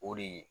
O de ye